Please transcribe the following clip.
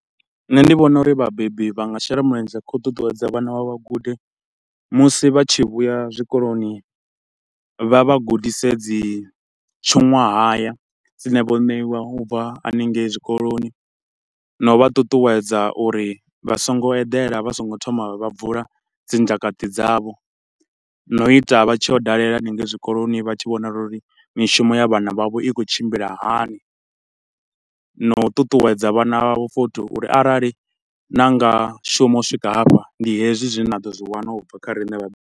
Nṋe ndi vhona uri vhabebi vha nga shela mulenzhe kha u ṱuṱuwedza vhana vhavho vha gude, musi vha tshi vhuya zwikoloni vha vha gudise dzi tshuṅwahaya dzine vho ṋeiwa ubva hanengei zwikoloni na u vha ṱuṱuwedza uri vha so ngo eḓela vha so ngo thoma vha bvula dzi ndzhakaṱi dzavho. Na u ita vha tshi yo dalela hanengei zwikoloni vha tshi vhonala uri mishumo ya vhana vhavho i khou tshimbila hani, na u ṱuṱuwedza vhana vhavho futhi uri arali na nga shuma u swika hafha, ndi hezwi zwine na ḓo zwi wana ubva kha riṋe vha.